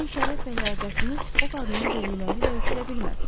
Sizin şərəf və ləyaqətiniz o qadının dedikləri ilə ölçülə bilməz.